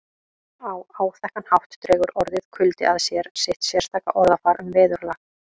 Á áþekkan hátt dregur orðið kuldi að sér sitt sérstaka orðafar um veðurlag